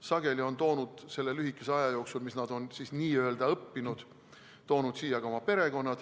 Sageli on nad toonud selle lühikese aja jooksul, mis nad on siin n‑ö õppinud, siia ka oma perekonna.